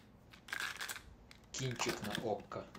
кинчик на окко